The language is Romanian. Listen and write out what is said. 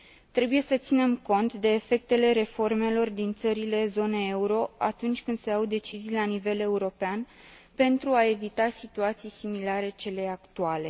Trebuie să ținem cont de efectele reformelor din țările zonei euro atunci când se iau decizii la nivel european pentru a evita situații similare celei actuale.